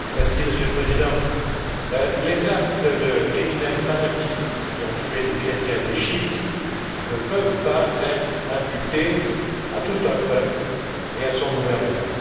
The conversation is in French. Monsieur le Président, les actes de criminels fanatiques, qui ont tué des chrétiens d'Égypte, ne peuvent pas être imputés à tout un peuple et à son gouvernement.